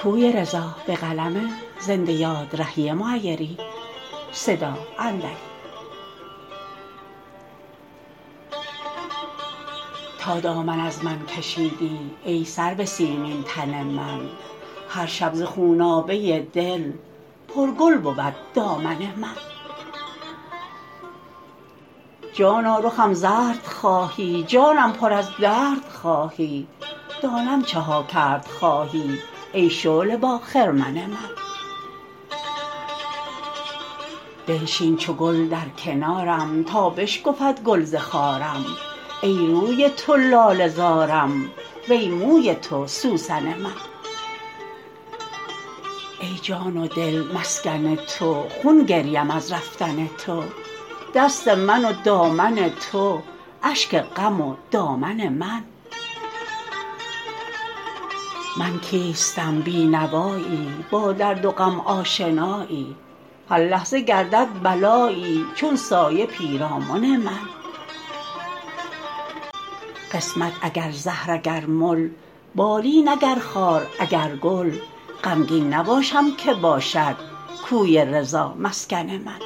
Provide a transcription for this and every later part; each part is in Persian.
تا دامن از من کشیدی ای سرو سیمین تن من هر شب ز خونابه دل پر گل بود دامن من جانا رخم زرد خواهی جانم پر از درد خواهی دانم چه ها کرد خواهی ای شعله با خرمن من بنشین چو گل در کنارم تا بشکفد گل ز خارم ای روی تو لاله زارم وی موی تو سوسن من ای جان و دل مسکن تو خون گریم از رفتن تو دست من و دامن تو اشک غم و دامن من من کیستم بی نوایی با درد و غم آشنایی هر لحظه گردد بلایی چون سایه پیرامن من قسمت اگر زهر اگر مل بالین اگر خار اگر گل غمگین نباشم که باشد کوی رضا مسکن من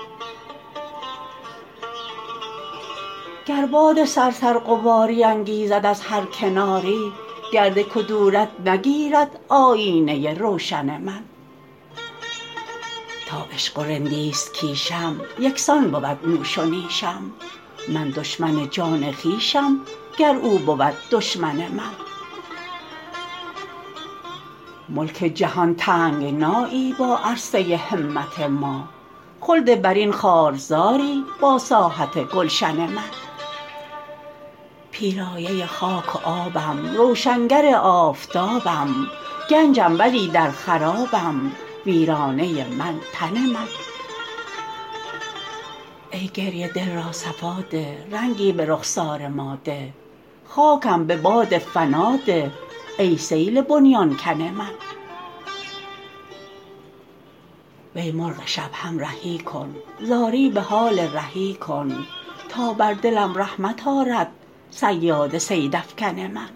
گر باد صرصر غباری انگیزد از هر کناری گرد کدورت نگیرد آیینه روشن من تا عشق و رندیست کیشم یکسان بود نوش و نیشم من دشمن جان خویشم گر او بود دشمن من ملک جهان تنگنایی با عرصه همت ما خلد برین خار زاری با ساحت گلشن من پیرایه خاک و آبم روشنگر آفتابم گنجم ولی در خرابم ویرانه من تن من ای گریه دل را صفا ده رنگی به رخسار ما ده خاکم به باد فنا ده ای سیل بنیان کن من وی مرغ شب همرهی کن زاری به حال رهی کن تا بر دلم رحمت آرد صیاد صیدافکن من